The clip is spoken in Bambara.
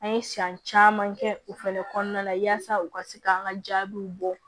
An ye san caman kɛ u fɛnɛ kɔnɔna la yaasa u ka se ka an ka jaabiw bɔ